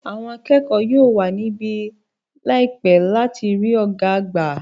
Àwọn akẹ́kọ̀ọ́ yóò wà níbí láìpẹ́ láti rí ọ̀gá àgbà.